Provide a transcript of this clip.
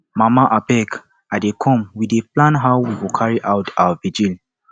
mama abeg i dey comewe dey plan how we go carry out our vigil